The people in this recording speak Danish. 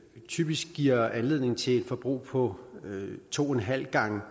typisk giver anledning til et forbrug på to en halv gange